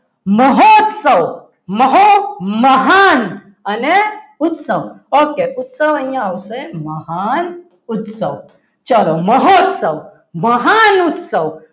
મહોત્સવ મહુ મહાન અને ઉત્સવ okay ઉત્સવ અહીંયા આવશે મહાન ઉત્સવ ચાલો મહોત્સવ મહાન ઉત્સવ